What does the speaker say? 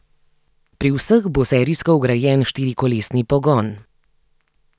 Pri vseh bo serijsko vgrajen štirikolesni pogon.